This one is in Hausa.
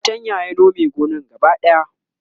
da fatanya ya Nome gonan gaba daya